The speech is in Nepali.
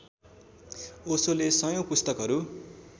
ओशोले सयौं पुस्तकहरू